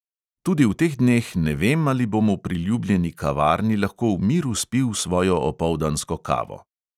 Tudi v teh dneh ne vem, ali bom v priljubljeni kavarni lahko v miru spil svojo opoldansko kavo.